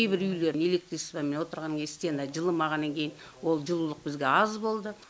кейбір үйлер электричествомен отырғаннан стены жылымағаннан кейін ол жылулық бізге аз болды